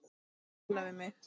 Tala við mig?